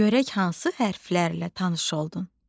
Görək hansı hərflərlə tanış oldun.